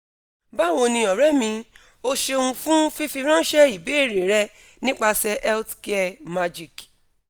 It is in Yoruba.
bawo ni ore mi o ṣeun fun fifiranṣẹ ibeere rẹ nipasẹ healthcare magic